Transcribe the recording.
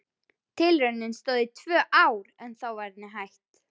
Tilraunin stóð í tvö ár en þá var henni hætt.